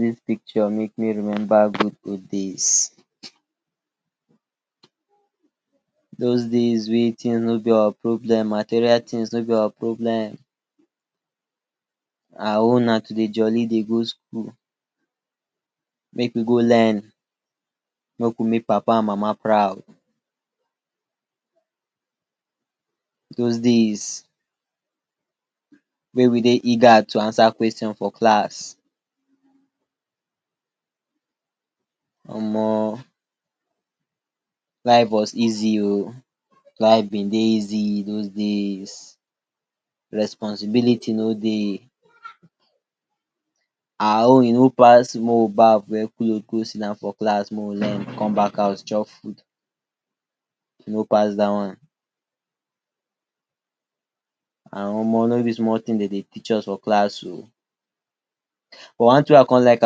dis picture make me remember good old days, those days wey things no be our problem, material things no be our problem, our own na to dey jolly dey go school, make we go learn make we make papa and mama proud, those days wey we dey eager to answer question for class Omo life was easy oh, life bin dey easy those day’s responsibility no dey, our own e no pass maey we Baff weae cloth go siddon for class make we learn come back chop food, e no pass dat one, and Omo no be small thing dem dey teach us for class o, but one thing wey I con like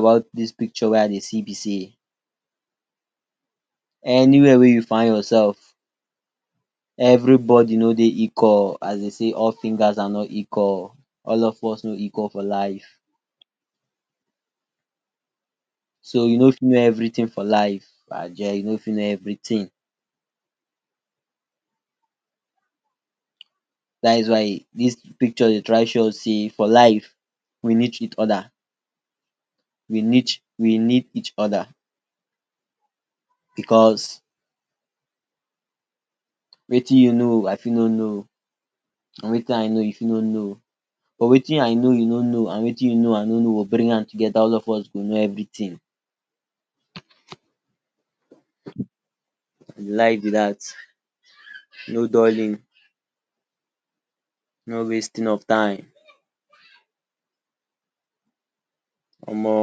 about dis picture wey I dey see be sey, anywhere wey u find yourself, everybody no dey equal as dey sey all fingers are not equal, all of us no equal for life, so u no fit no everything for life, ajeh, u no fit no everything, that’s why dis picture dey try show us sey for life we neetch each other, we neetch we need each other because Wetin u know I fit no no and Wetin I know u fit no no, but Wetin I know u no no and Wetin you no I know no no we bring am together and all of us go No everything, na life b dat, no dulling, no wasting of time Omo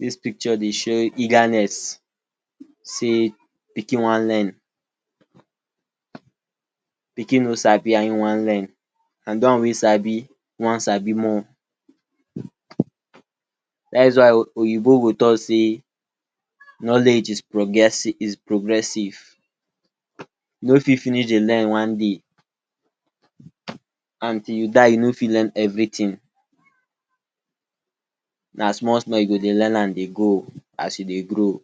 dis picture dey show eagerness sey pikin wan learn pikin no sabi and hin wan learn, and de one wey sabi wan sabi more, dats why oyinbo go talk sey knowledge is progressive, u no fit finish dey learn one day, until u die u no fit learn everything na small small u go dey learn am dey go as you dey grow.